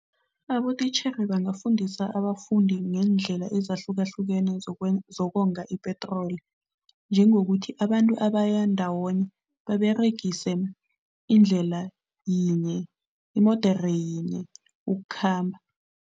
Abotitjhere bangafundisa abafundi ngendlela ezahlukahlukene zokonga ipetroli, njengokuthi abantu abaya ndawonye baberegise indlela yinye, imodere yinye ukukhamba.